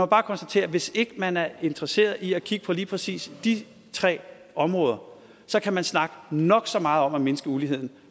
bare konstatere at hvis ikke man er interesseret i at kigge på lige præcis de tre områder så kan man snakke nok så meget om at mindske uligheden